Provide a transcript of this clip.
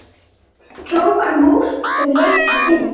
hrópar mús sem leysir vind.